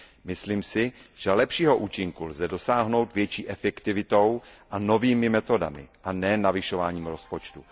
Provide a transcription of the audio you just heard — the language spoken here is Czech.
Myslím si, že lepšího účinku lze dosáhnout větší efektivitou a novými metodami, a nikoli navyšováním rozpočtu.